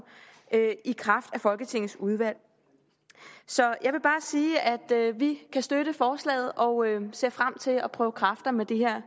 i kraft af folketingets udvalg så jeg vil bare sige at vi kan støtte forslaget og ser frem til at prøve kræfter med den her